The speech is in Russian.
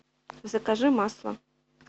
закажи масло